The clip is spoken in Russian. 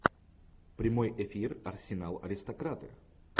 прямой эфир арсенал аристократы